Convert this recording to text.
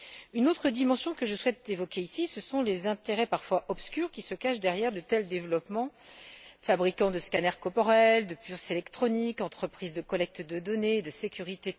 Une autre dimension que je souhaite évoquer ici, ce sont les intérêts, parfois obscurs, qui se cachent derrière de tels développements fabricants de scanners corporels, de puces électroniques, entreprises de collecte de données et de sécurité.